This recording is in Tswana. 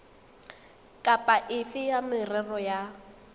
kapa efe ya merero ya